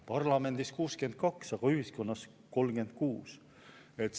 Parlamendis 62, aga ühiskonnas 36.